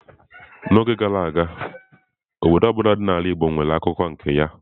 N'oge gara aga, obodo ọ bụla dị n'ala igbo nwere akụkọ nke ya.